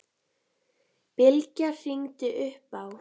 Bylgja hringdi upp á